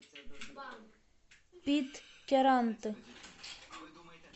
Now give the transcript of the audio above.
питкяранты